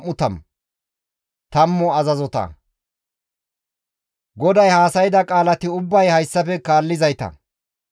GODAY haasayda qaalati ubbay hayssafe kaallizayta;